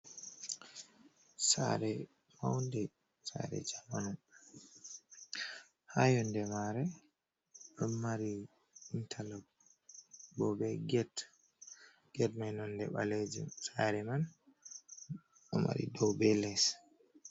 Sare maude sare jamanu, ha yonde mare on mari intalak bo be get mai nonde balejuk sare man don mari dow be les.